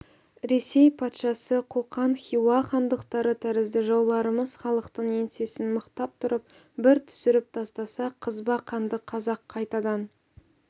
ресей патшасы қоқан хиуа хандықтары тәрізді жауларымыз халықтың еңсесін мықтап тұрып бір түсіріп тастаса қызба қанды қазақ қайтадан